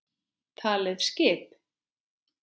Talið skip?